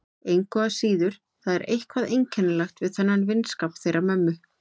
Engu að síður, það er eitthvað einkennilegt við þennan vinskap þeirra mömmu.